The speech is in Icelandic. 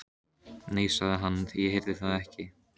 Nei, sagði hann, ég heyrði það ekki.